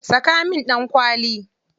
Saka min ɗankwali.